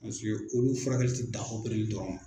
olu furakɛli ti dan dɔrɔn ma.